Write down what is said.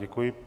Děkuji.